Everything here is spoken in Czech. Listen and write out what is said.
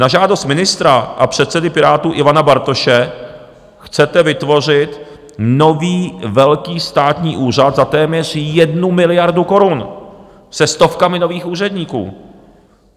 Na žádost ministra a předsedy Pirátů Ivana Bartoše chcete vytvořit nový velký státní úřad za téměř 1 miliardu korun se stovkami nových úředníků.